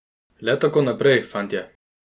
Le tako naprej, fantje!